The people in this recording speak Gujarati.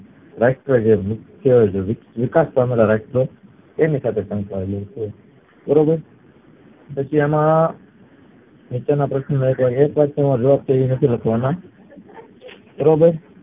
રાષ્ટ્ર વિકાસ પામેલા રાષ્ટ્ર એની સાથે શંકાયેલ છે પછી એમાં આ નીચે ના એક વાક્ય માં જવાબ નથી લખવાના બરોબર